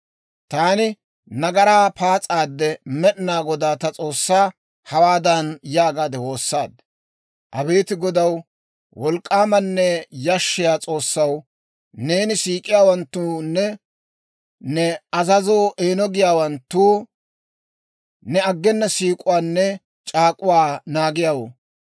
Taani nagaraa paas'aadde, Med'inaa Godaa ta S'oossaa hawaadan yaagaade woossaaddi; «Abeet Godaw, wolk'k'aamanne yashshiyaa S'oossaw, neena siik'iyaawanttoonne ne azazoo eeno giyaawanttoo ne aggenna siik'uwaanne c'aak'uwaa naagiyaawoo,